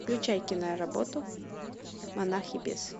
включай киноработу монах и бес